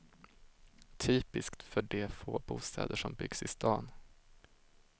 Typiskt för de få bostäder som byggs i stan.